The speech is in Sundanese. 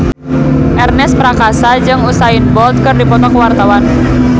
Ernest Prakasa jeung Usain Bolt keur dipoto ku wartawan